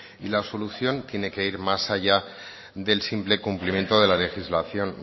y la solución tiene que ir más allá del simple cumplimiento de la legislación